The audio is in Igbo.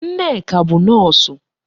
Nneka bụ Nọọsụ.